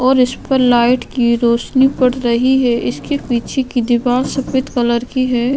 और इस पर लाइट की रोशनी पड़ रही है इसके पीछे की दीवार सफेद कलर की है।